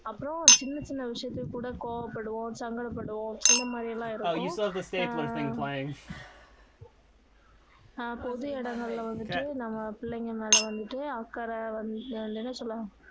அப்பறோம் சின்ன சின்ன விஷயத்துக்குக் கூட கோவம் படுவோம் சங்கட படுவோம் இந்த மாதிரியெல்லாம் இருக்கும் ஆஹ் அஹ் பொது இடங்கள்ல வந்துட்டு நம்ம பிள்ளைங்க மேல வந்துட்டு அக்கறை வந்து அது என்ன சொல்லுவாங்க